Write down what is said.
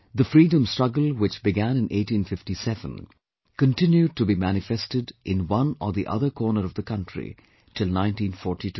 The freedom struggle which began in 1857, continued to be manifested in one or the other corner of the country till 1942